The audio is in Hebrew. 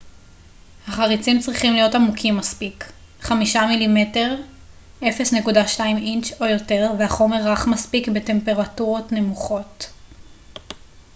"החריצים צריכים להיות עמוקים מספיק 5 מ""מ 1/5 אינץ' או יותר והחומר רך מספיק בטמפרטורות נמוכות.